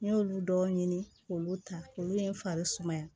N y'olu dɔw ɲini k'olu ta olu ye n fari sumaya